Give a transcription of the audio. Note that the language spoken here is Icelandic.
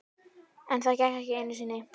En það gekk ekki einu sinni.